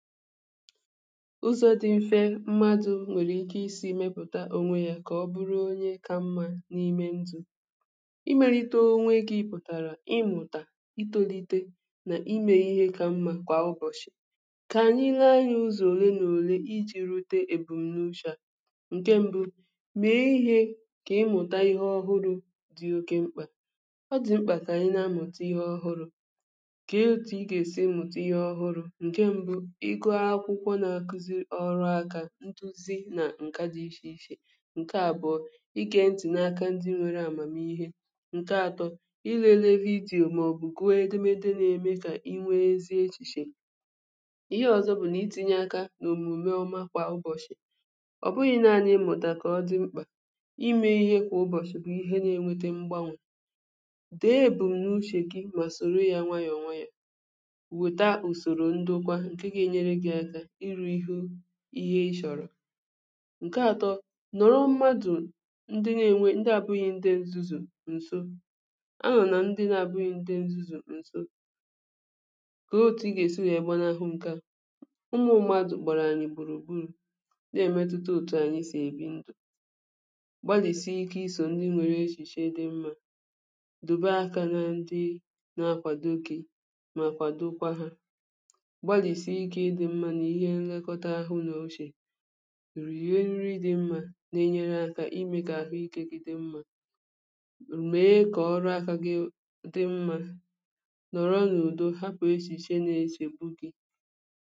ụzọ̇ dị̇ mfe mmadụ̇ nwere ike isi̇ mepụ̀ta onwe ya kà ọ bụrụ onye kà mmȧ n’ime ndụ̀ imelite onwe gị̇ pụ̀tàrà ịmụ̀tà itolite n’ime ihe kà mmȧ kwà ụbọ̀chị̀ kà anyị lee anyị̇ ụzọ̀ òle n’òle iji̇ rute ebumnuche ǹke mbụ mèe ihė kà ịmụ̀tà ihe ọhụrụ dị̀ oke mkpà ọ dị̀ mkpà kà anyị na-amụ̀ta ihe ọhụrụ̇ kà otù ị gà-èsi ịmụ̀tà ihe ọhụrụ̇ ọrụ aka ntuzi na nke dị iche iche nke abụọ ịke n dị n’aka ndị nwere amamihe nke atọ ịlele vidiyo maọbụ gụọ edemede na-eme ka inwee ezie echiche ihe ọzọ bụ na itinye aka n’omume ọma kwa ụbọchị ọbụghị naanị emụtakọ ọdị mkpa ime ihe kwa ụbọchị kwa ihe na-enweta mgbanwè dee bụ n’uchè gị ma soro ya nwayọọ nwayọ à weta usoro ndụ kwa nke ga-enyere gị ihè ị chọ̀rọ̀ ǹke atọ nọ̀rọ̀ mmadụ̀ ndị na-ènwe ndị abụ̇ghị ndị ǹzuzù ǹso a nà ndị na-abụ̇ghị ndị ǹzuzù ǹso kà o too ị gà-èsi yà gbanahụ ǹkè a ụmụ̀ mmadụ̀ kpọ̀rọ̀ anyị̀ gbùrù gbùrù na-èmetuta òtù ànyị sì èbi ndụ̀ gbalìsie ike isò ndị nwèrè echìche dị mmȧ dòbe aka nȧ ndị na-akwàdogị mà kwàdokwa hȧ pụrụ̀ ihe nri dị mmȧ na-enyere aka imė kà ahụikė gị dị mmȧ ume kọ̀ọ ọrụ aka gị dị mmȧ nọ̀rọ n’udo hapụ̀ esì che na-eshè bugi